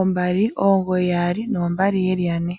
ombali, omugoyi yaali oombali yeli yane.